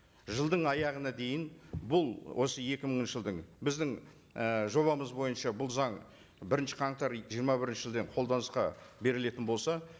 жылдың аяғына дейін бұл осы екі мыңыншы жылдың біздің і жобамыз бойынша бұл заң бірінші қаңтар жиырма бірінші жылдан қолданысқа берілетін болса